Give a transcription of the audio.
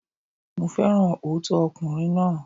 Mo féràn òótọ́ ọkùnrin náà.